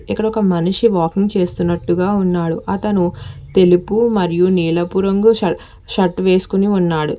ఇక్కడ ఒక మనిషి వాకింగ్ చేస్తున్నట్టుగా ఉన్నాడు అతను తెలుపు మరియు నీలపు రంగు ష షర్ట్ వేసుకుని ఉన్నాడు.